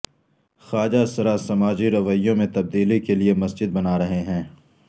خواجہ سرا سماجی رویوں میں تبدیلی کے لیے مسجد بنا رہے ہیں